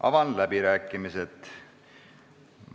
Avan läbirääkimised.